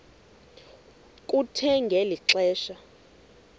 kuthe ngeli xesha